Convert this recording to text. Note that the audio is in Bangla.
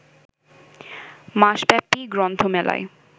মাসব্যাপী গ্রন্থমেলায়